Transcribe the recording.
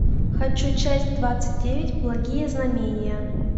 хочу часть двадцать девять благие знамения